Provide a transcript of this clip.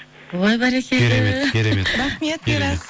ой бәрекелді керемет керемет рахмет мирас